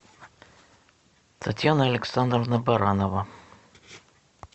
татьяна александровна баранова